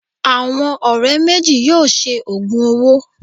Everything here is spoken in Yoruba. Àwọn ọ̀rẹ́ méjì yóò ṣe òògùn owó